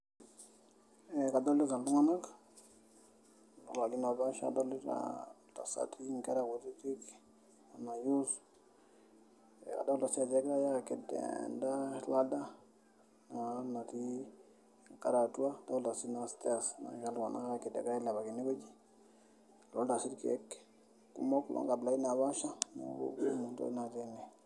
Eeh kadolita iltunganak, adolita ntasati, nkera kutitik, Kuna youths. Adolita si ajo ekijare aked enda ladder naa natii enkare atua. Adolita si noo stairs nagira iltunganak aked ailepaki ene wueji. Adolita irkieek kumok loo nkabulaitin naapaasha ,kumok ntokitin natii ene.